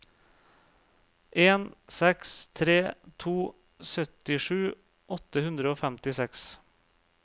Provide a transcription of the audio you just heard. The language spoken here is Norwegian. en seks tre to syttisju åtte hundre og femtiseks